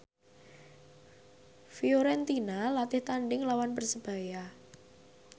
Fiorentina latih tandhing nglawan Persebaya